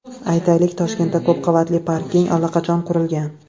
Aytaylik, Toshkentda ko‘p qavatli parking allaqachon qurilgan.